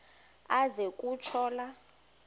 aze kutsho la